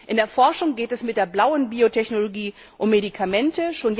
In der Forschung geht es mit der blauen Biotechnologie um Medikamente.